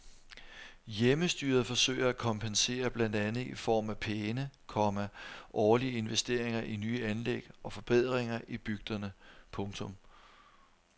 Hjemmestyret forsøger at kompensere blandt andet i form af pæne, komma årlige investeringer i nye anlæg og forbedringer i bygderne. punktum